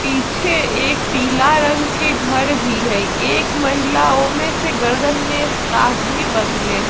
पीछे एक पीला रंग के घर भी हई एक महिला ओय मे से गर्दन में स्कार्फ़ भी बँधले हई।